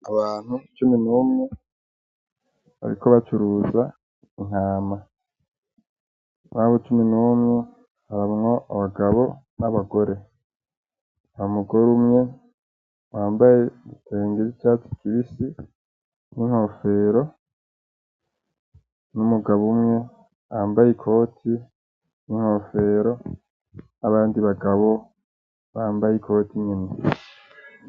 Abantu cumi n'umwe bariko bacuruza intama, murabo cumi n'umwe harimwo abagabo n'abagore, hari umugore umwe yambaye igitenge c'icatsi kibisi n'inkofero; n'umugabo umwe yambaye ikoti n'inkofero; n'abandi bagabo bambaye ikoti nyene.